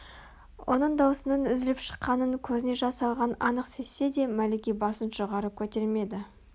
оның даусының үзіліп шыққанын көзіне жас алғанын анық сезсе де мәлике басын жоғары көтермеді